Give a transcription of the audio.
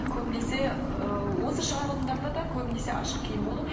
көбінесе ыыы осы шығарылымдарда да көбінесе ашық киім болды